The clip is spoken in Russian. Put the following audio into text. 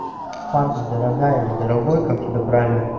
харди дорогая или дорогой как тебя правильно